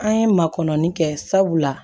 An ye makɔni kɛ sabula